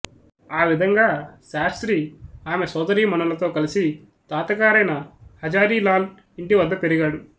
ఆ విధంగా శాస్త్రి ఆమె సొదరీమణులతో కలసి తాతగారైన హజారీ లాల్ ఇంటి వద్ద పెరిగాడు